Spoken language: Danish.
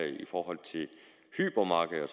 i forhold til hypermarkeder